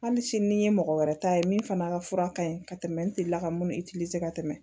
Hali sini ni n ye mɔgɔ wɛrɛ ta ye min fana ka fura ka ɲi ka tɛmɛ n delila ka minnu ka tɛmɛ